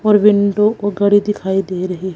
और विंडो को दिखाइ दे रही है।